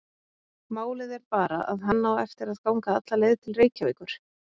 Málið er bara að hann á eftir að ganga alla leið til Reykjavíkur.